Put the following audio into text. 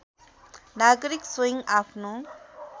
नागरिक स्वयं आफ्नो